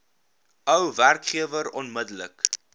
ou werkgewer onmiddellik